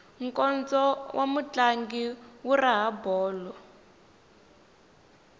nkondzo wa mutlangi wu raha bolo